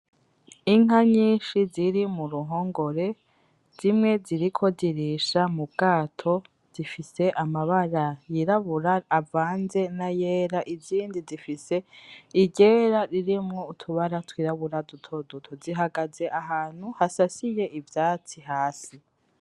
Inka nyinshi ziri mu ruhongore zimwe ziriko zirisha mu bwato zifise amabara yirabura nayandi avanze nayera izindi zifise iryera ririmwo utubara twirabura dutoduto, zihagaze ahantu hasasiye ivyatsi hasi.